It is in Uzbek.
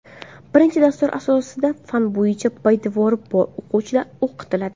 Birinchi dastur asosida fan bo‘yicha poydevori bor o‘quvchilar o‘qitiladi.